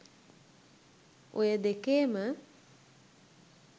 ඔය දෙකේම